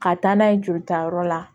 Ka taa n'a ye jolitayɔrɔ la